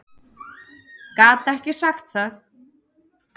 Gat ekki sagt það.